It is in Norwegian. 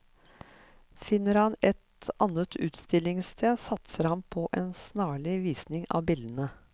Finner han et annet utstillingsted, satser han på en snarlig visning av bildene.